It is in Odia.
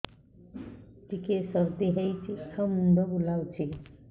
ଟିକିଏ ସର୍ଦ୍ଦି ହେଇଚି ଆଉ ମୁଣ୍ଡ ବୁଲାଉଛି